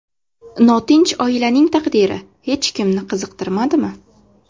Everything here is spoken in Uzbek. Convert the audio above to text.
Notinch oilaning taqdiri hech kimni qiziqtirmadimi?